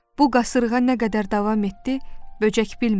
Bu qasırğa nə qədər davam etdi, böcək bilmirdi.